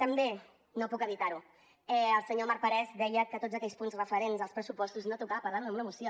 també no puc evitar ho el senyor marc parés deia que de tots aquells punts referents als pressupostos no tocava parlar ne en una moció